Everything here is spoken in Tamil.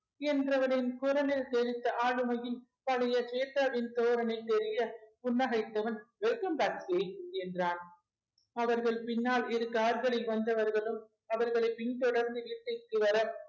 என்றவளின் குரலில் சேவித்த ஆளுமையில் பழைய ஸ்வேதாவின் தோரணை தெரிய புன்னகைத்தவன் welcome என்றான் அவர்கள் பின்னால் இரு கார்களில் வந்தவர்களும் அவர்களை பின் தொடர்ந்து வீட்டிற்கு வர